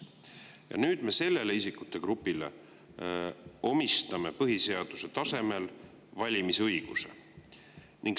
Ja nüüd me sellele isikute grupile põhiseaduse tasemel valimisõiguse.